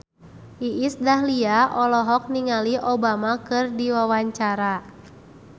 Iis Dahlia olohok ningali Obama keur diwawancara